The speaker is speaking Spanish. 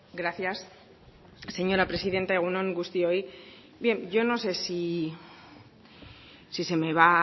gracias señora presidenta egun on guztioi bien yo no sé si se me va a